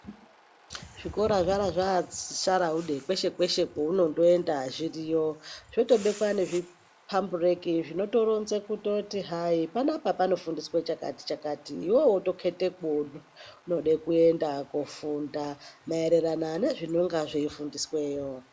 Zvikora zvavasharaude kweshe kweshe kwaunoenda zviriyo wotobekwa pambureki zvinotoronza kuti hai panapa panofundiswa chakati chakati iwewe wotoketa kwaunoda kuenda kundofunda maererano nozvinenge zveifundiswayo.